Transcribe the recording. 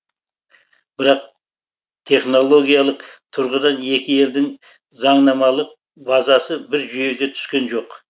бірақ технологиялық тұрғыдан екі елдің заңнамалық базасы бір жүйеге түскен жоқ